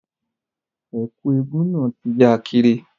Ẹ̀kú eégún náà ti ya kiri